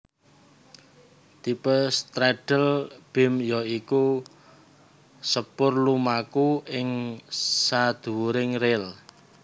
Tipe straddle beam ya iku sepur lumaku ing sadhuwuring ril